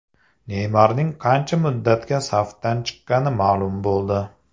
Neymarning qancha muddatga safdan chiqqani ma’lum bo‘ldi.